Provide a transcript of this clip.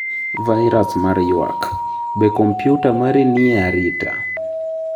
Vairus mar ywak: Be kompyuta mari ni e arita?